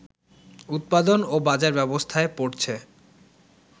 উৎপাদন ও বাজার ব্যবস্থায় পড়ছে